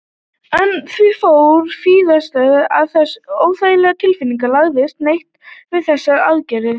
En því fór víðsfjarri að þessi óþægilega tilfinning lagaðist neitt við þessar aðgerðir.